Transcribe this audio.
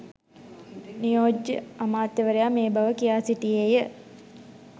නියෝජ්‍ය අමාත්‍යවරයා මේ බව කියා සිටියේය.